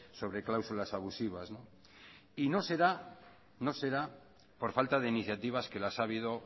sobre cláusulas abusivas y no será por falta de iniciativas que las ha habido